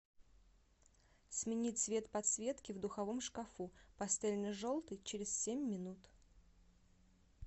смени цвет подсветки в духовом шкафу пастельно желтый через семь минут